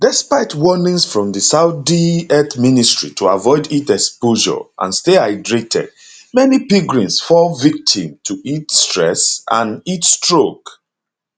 despite warnings from di saudi health ministry to avoid heat exposure and stay hydrated many pilgrims fall victim to heat stress and heatstroke